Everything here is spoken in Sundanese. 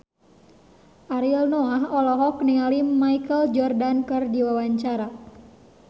Ariel Noah olohok ningali Michael Jordan keur diwawancara